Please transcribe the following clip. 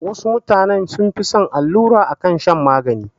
Wasu mutane sun fi son allura akan shan magani